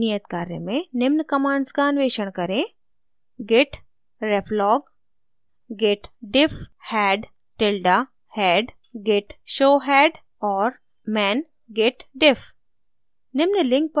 नियत कार्य में निम्न commands का अन्वेषण करें: